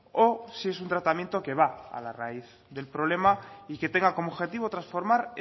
o si es un tratamiento que va a la raíz del problema y que tenga como objetivo transformar